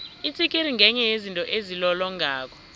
itsikiri ngenye yezinto ezilolongako